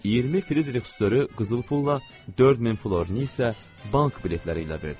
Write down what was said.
20 fritixdırı qızıl pulla, 4000 florini isə bank biletləri ilə verdilər.